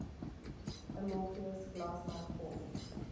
amorphous glass like form